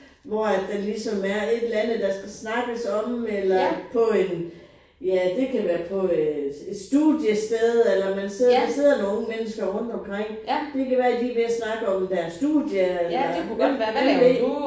Hvor at der ligesom er et eller andet der skal snakkes om eller på en ja det kan på være på et studiested eller man sidder der sidder nogen unge mennesker rundt omkring. Det kan være de er ved at snakke om deres studie eller hvem hvem ved